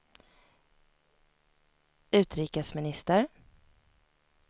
utrikesminister